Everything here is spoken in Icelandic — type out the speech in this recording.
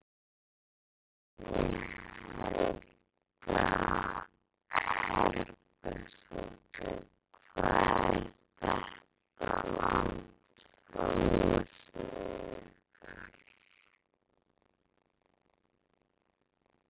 Guðný Helga Herbertsdóttir: Hvað er þetta langt frá húsinu ykkar?